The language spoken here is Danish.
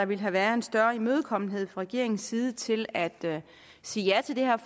ville have været en større imødekommenhed fra regeringens side til at sige ja til det her